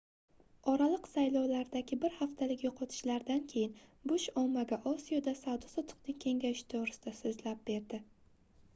oraliq saylovlardagi bir haftalik yoʻqotishlardan keyin bush ommaga osiyoda savdo-sotiqning kengayishi toʻgʻrisida soʻzlab berdi